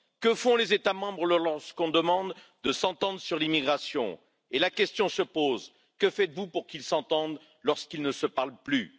Que font les États membres lorsqu'on demande de s'entendre sur l'immigration, et la question se pose que faites vous pour qu'ils s'entendent lorsqu'ils ne se parlent plus?